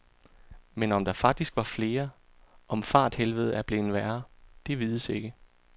Men om der faktisk var flere, om farthelvedet er blevet værre, det vides ikke.